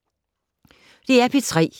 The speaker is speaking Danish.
DR P3